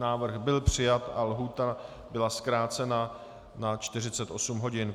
Návrh byl přijat a lhůta byla zkrácena na 48 hodin.